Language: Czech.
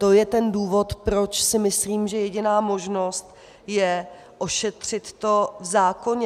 To je ten důvod, proč si myslím, že jediná možnost je ošetřit to v zákoně.